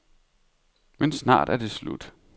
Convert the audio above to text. Men snart er det slut.